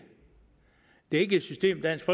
det er ikke et system dansk